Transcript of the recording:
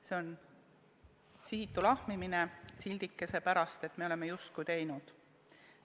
See on sihitu lahmimine sildikese pärast, et me oleme justkui teinud.